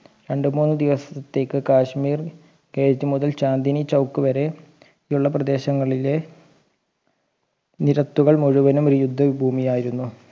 രണ്ട് മൂന്ന് ദിവസത്തേയ്ക്ക് കാശ്‌മീർ കേജ് മുതൽ ചാന്ദിനി ചൗക്ക് വരെയുള്ള പ്രദേശങ്ങളിലെ നിരത്തുകൾ മുഴുവനും ഒരു യുദ്ധ ഭൂമിയായിരുന്നു